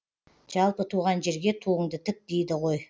жалпы туған жерге туынды тік дейді ғой